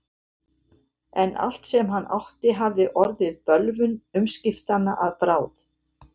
En allt sem hann átti hafði orðið bölvun umskiptanna að bráð.